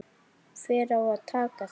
Hver á að taka það?